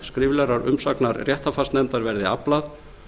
skriflegrar umsagnar réttarfarsnefndar verði aflað